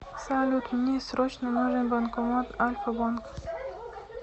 салют мне срочно нужен банкомат альфа банка